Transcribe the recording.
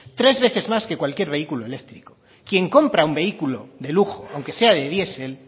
tres veces más que cualquier vehículo eléctrico quien compra un vehículo de lujo aunque sea de diesel